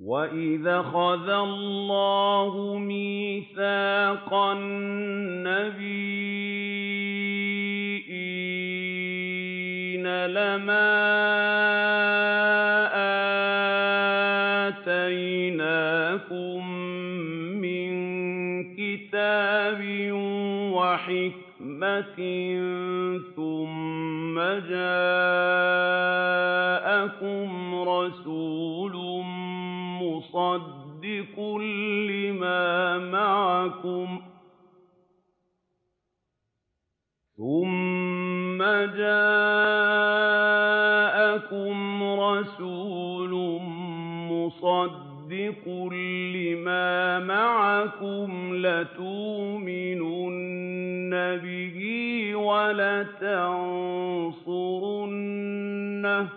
وَإِذْ أَخَذَ اللَّهُ مِيثَاقَ النَّبِيِّينَ لَمَا آتَيْتُكُم مِّن كِتَابٍ وَحِكْمَةٍ ثُمَّ جَاءَكُمْ رَسُولٌ مُّصَدِّقٌ لِّمَا مَعَكُمْ لَتُؤْمِنُنَّ بِهِ وَلَتَنصُرُنَّهُ ۚ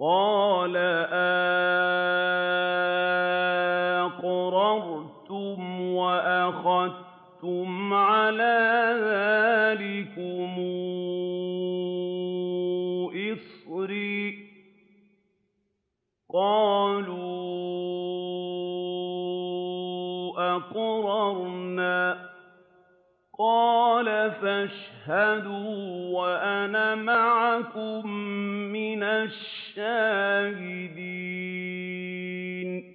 قَالَ أَأَقْرَرْتُمْ وَأَخَذْتُمْ عَلَىٰ ذَٰلِكُمْ إِصْرِي ۖ قَالُوا أَقْرَرْنَا ۚ قَالَ فَاشْهَدُوا وَأَنَا مَعَكُم مِّنَ الشَّاهِدِينَ